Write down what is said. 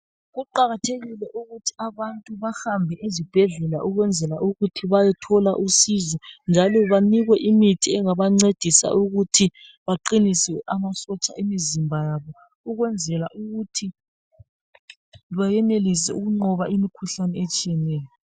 Kuqakathekile ukuthi abantu bahambe ezibhedlela ukwenzela ukuthi bayithola usizo njalo banikwe imithi engabancedisa ukuthi baqinise amasotsha emizimba ukwenzela ukuthi beyenelise ukungqoba imikhuhlane etshiyeneyo